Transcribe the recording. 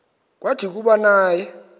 kwathi kuba naye